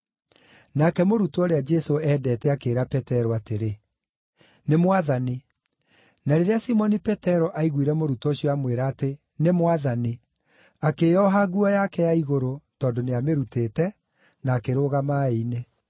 Nake mũrutwo ũrĩa Jesũ eendete akĩĩra Petero atĩrĩ, “Nĩ Mwathani!” Na rĩrĩa Simoni Petero aiguire mũrutwo ũcio aamwĩra atĩ, “Nĩ Mwathani”, akĩĩoha nguo yake ya igũrũ (tondũ nĩamĩrutĩte), na akĩrũga maaĩ-inĩ.